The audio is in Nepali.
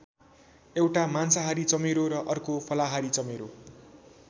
एउटा मांसाहारी चमेरो र अर्को फलाहारी चमेरो।